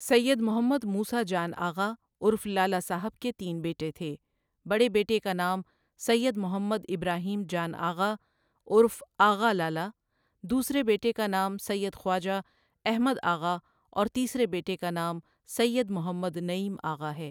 سید محمد موسی جان آغا ؒ عرف لالا صاحبؒ کے تین بیٹے تھے، بڑے بیٹے کا نام سید محمد ابراھیم جان آغاؒ عرف آغا لالا، دوسرے بیٹے کا نام سید خواجہ احمد آغاؒ اور تیسرے بیٹے کا نام سید محمد نعیم آغاؒ ہے۔